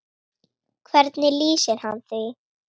Hvernig lýsir hann því?